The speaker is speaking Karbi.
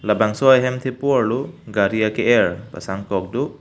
labangso hem thepo arlo gari ake er pasang kok do.